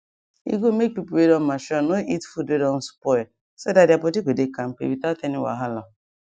e good make people wey don mature no eat food wey don spoil spoil so that their body go dey kampe without any wahala